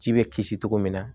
Ji bɛ kisi cogo min na